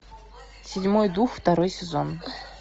седьмой дух второй сезон